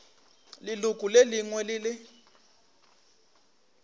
leloko le lengwe le le